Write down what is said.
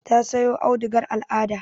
Ta sayo audugar al'ada.